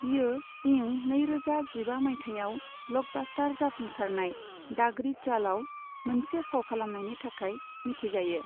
बियो इं नै रोजा जिबा माइथायाव ब्लकबास्टार जाफुंसारनाय दागड़ी चालआव मोनसे फाव खालामनायनि थाखाय मिथिजायो।